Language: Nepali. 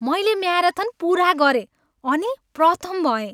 मैले म्याराथन पुरा गरेँ अनि प्रथम भएँ।